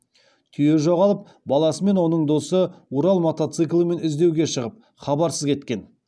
түйе жоғалып баласы мен оның досы урал мотоциклімен іздеуге шығып хабарсыз кеткен